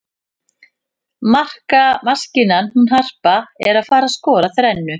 Markamaskínan hún Harpa er að fara skora þrennu.